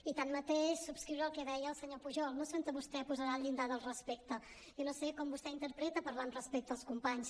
i tanmateix subscriure el que deia el senyor pujol no sé on vostè posarà el llindar del respecte jo no sé com vostè interpreta parlar amb respecte als companys